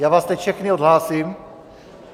Já vás teď všechny odhlásím.